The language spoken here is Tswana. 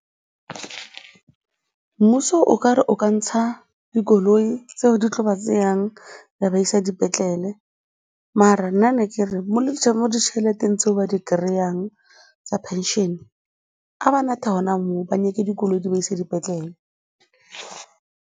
Mmuso okare o ka ntsha dikoloi tseo di tla ba tseyang tsa ba isa dipetlele mara nna ne ke re mo ditšheleteng tse ba di kry-ang tsa pension-e a ba nathe gona moo ba nyake dikoloi di ba ise dipetlele.